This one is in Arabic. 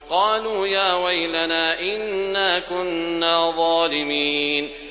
قَالُوا يَا وَيْلَنَا إِنَّا كُنَّا ظَالِمِينَ